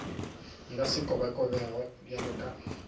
nka se kobakobege bjalo ka